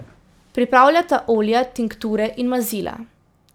Pripravljata olja, tinkture in mazila.